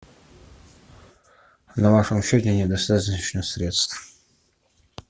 на вашем счете недостаточно средств